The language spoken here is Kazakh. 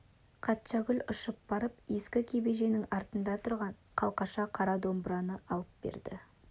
қатшагүл ұшып барып ескі кебеженің артында тұрған қалақша қара домбыраны алып берді